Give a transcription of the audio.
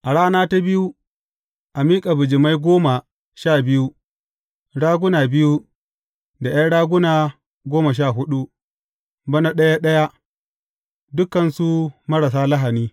A rana ta biyu, a miƙa bijimai goma sha biyu, raguna biyu, da ’yan raguna goma sha huɗu, bana ɗaya ɗaya, dukansu marasa lahani.